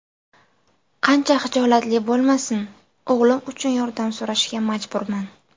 Qancha xijolatli bo‘lmasin, o‘g‘lim uchun yordam so‘rashga majburman.